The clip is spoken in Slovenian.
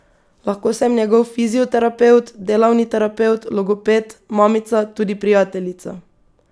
Lahko sem njegov fizioterapevt, delavni terapevt, logoped, mamica, tudi prijateljica.